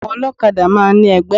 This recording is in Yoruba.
Àwọn olókadá máa n ní egbé